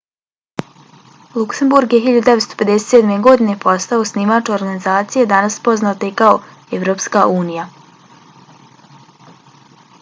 luksemburg je 1957. godine postao osnivač organizacije danas poznate kao evropska unija